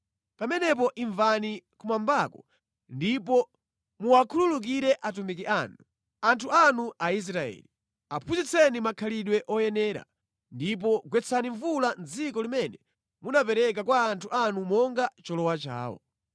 pamenepo imvani kumwambako ndipo muwakhululukire atumiki anu, anthu anu Aisraeli. Aphunzitseni makhalidwe oyenera, ndipo gwetsani mvula mʼdziko limene munapereka kwa anthu anu monga cholowa chawo.